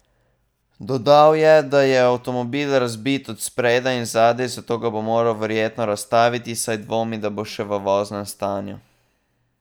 Dodal je, da je avtomobil razbit od spredaj in zadaj, zato ga bo moral verjetno razstaviti, saj dvomi, da bo še v voznem stanju.